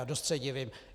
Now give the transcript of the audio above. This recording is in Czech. A dost se divím.